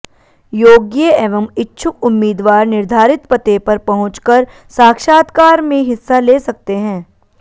योग्य एंव इच्छुक उम्मीदवार निर्धारित पते पर पहुंच कर साक्षात्कार मे हिस्सा ले सकते हैं